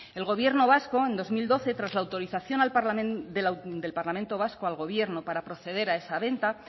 el gobierno vasco en dos mil doce tras la autorización del parlamento vasco al gobierno para proceder a esa venta